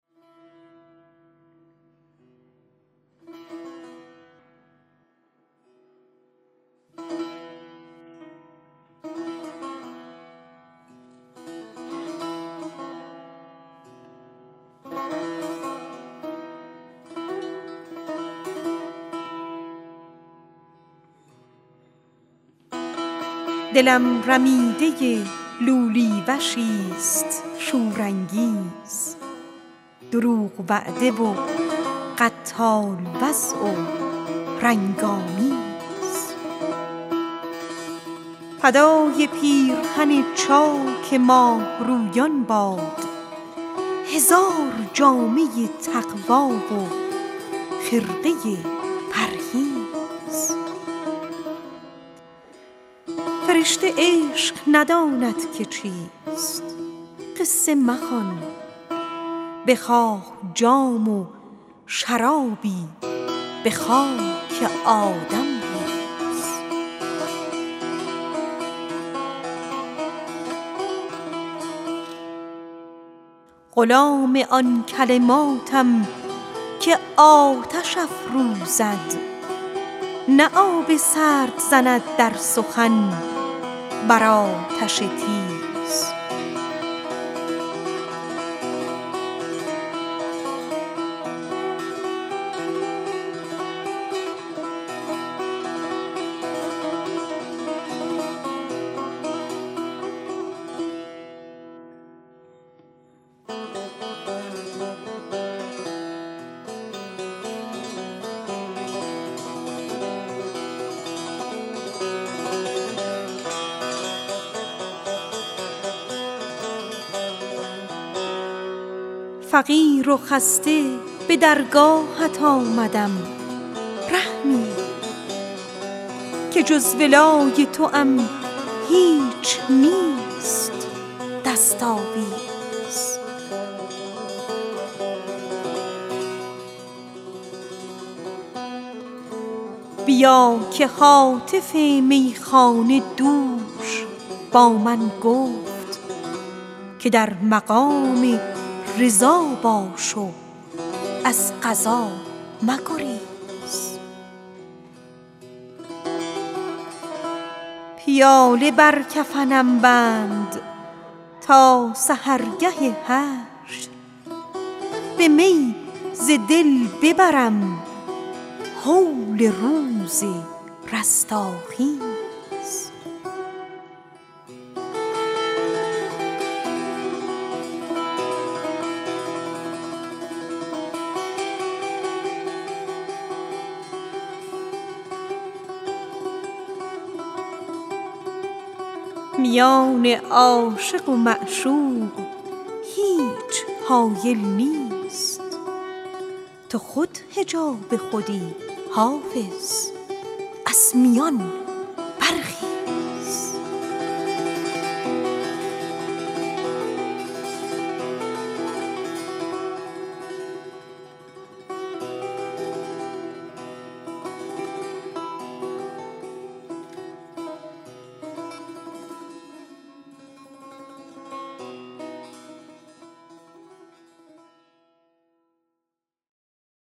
دلم رمیده لولی وشیست شورانگیز دروغ وعده و قتال وضع و رنگ آمیز فدای پیرهن چاک ماهرویان باد هزار جامه تقوی و خرقه پرهیز خیال خال تو با خود به خاک خواهم برد که تا ز خال تو خاکم شود عبیرآمیز فرشته عشق نداند که چیست ای ساقی بخواه جام و گلابی به خاک آدم ریز پیاله بر کفنم بند تا سحرگه حشر به می ز دل ببرم هول روز رستاخیز فقیر و خسته به درگاهت آمدم رحمی که جز ولای توام نیست هیچ دست آویز بیا که هاتف میخانه دوش با من گفت که در مقام رضا باش و از قضا مگریز میان عاشق و معشوق هیچ حایل نیست تو خود حجاب خودی حافظ از میان برخیز